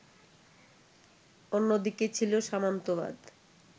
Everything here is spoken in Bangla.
অন্যদিকে ছিল সামন্তবাদ